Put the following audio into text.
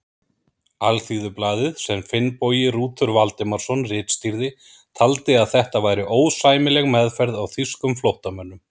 Alþýðublaðið, sem Finnbogi Rútur Valdimarsson ritstýrði, taldi að þetta væri ósæmileg meðferð á þýskum flóttamönnum.